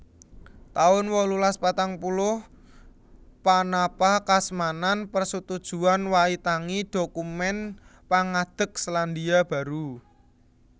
taun wolulas patang puluh Panapakasmanan Persetujuan Waitangi dhokumèn pangadeg Selandia Baru